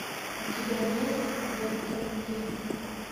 у тебя есть веб терапия